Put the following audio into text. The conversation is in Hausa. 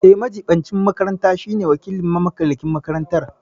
Eh, majiɓincin makaranta shine wakilin mamallakin makaranta.